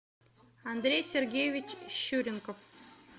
андрей сергеевич щуренков